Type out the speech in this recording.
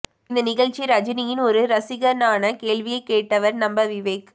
இந்த நிகழ்ச்சி ரஜினியின் ஒரு ரசிகனாக கேள்விகளை கேட்டவர் நம்ம விவேக்